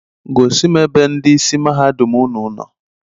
Gosim ebe ndị ịsị mahadum ụnụ nọ.